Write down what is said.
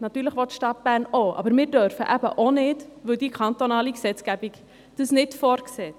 Natürlich will die Stadt Bern auch, aber wir dürfen eben auch nicht, weil die kantonale Gesetzgebung dies nicht vorsieht.